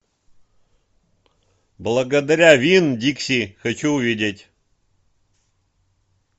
благодаря винн дикси хочу увидеть